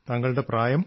താങ്കളുടെ പ്രായം